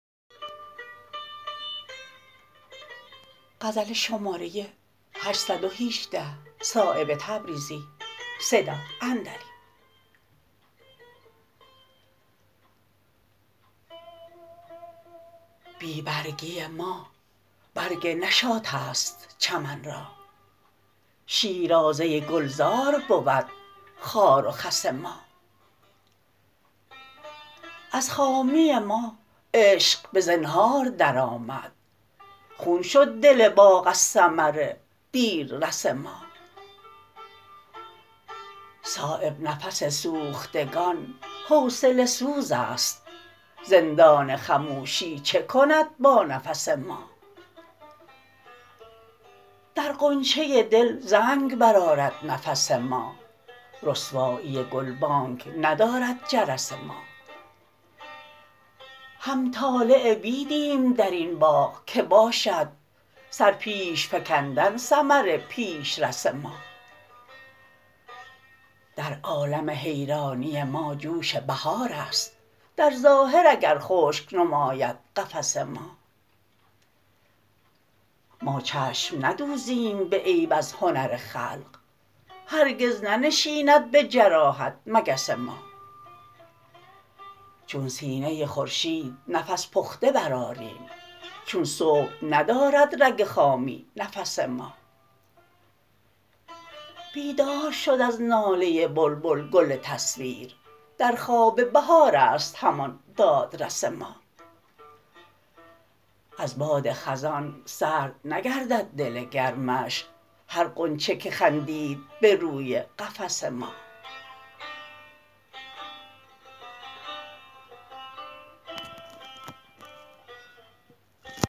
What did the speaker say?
بی برگی ما برگ نشاط است چمن را شیرازه گلزار بود خار و خس ما از خامی ما عشق به زنهار درآمد خون شد دل باغ از ثمر دیررس ما صایب نفس سوختگان حوصله سوزست زندان خموشی چه کند با نفس ما در غنچه دل زنگ برآرد نفس ما رسوایی گلبانگ ندارد جرس ما همطالع بیدیم درین باغ که باشد سر پیش فکندن ثمر پیشرس ما در عالم حیرانی ما جوش بهارست در ظاهر اگر خشک نماید قفس ما ما چشم ندوزیم به عیب از هنر خلق هرگز ننشیند به جراحت مگس ما چون سینه خورشید نفس پخته برآریم چون صبح ندارد رگ خامی نفس ما بیدار شد از ناله بلبل گل تصویر در خواب بهارست همان دادرس ما از باد خزان سرد نگردد دل گرمش هر غنچه که خندید به روی قفس ما